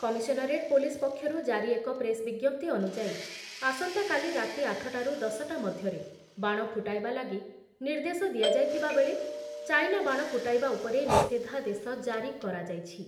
Commissionerate police ପକ୍ଷରୁ ଜାରି ଏକ ପ୍ରେସ୍ ବିଜ୍ଞପ୍ତି ଅନୁଯାୟୀ ଆସନ୍ତାକାଲି ରାତି ଆଠ ଟାରୁ ଦଶ ଟା ମଧ୍ୟରେ ବାଣ ଫୁଟାଇବା ଲାଗି ନିର୍ଦ୍ଦେଶ ଦିଆଯାଇଥିବା ବେଳେ ଚାଇନା ବାଣ ଫୁଟାଇବା ଉପରେ ନିଷେଧାଦେଶ ଜାରି କରାଯାଇଛି ।